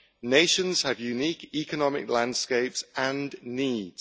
Nations have unique economic landscapes and needs.